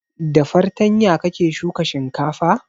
Da fartanya kake shuka shinkafa?